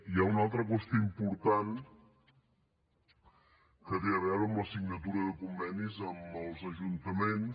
hi ha una altra qüestió important que té a veure amb la signatura de convenis amb els ajuntaments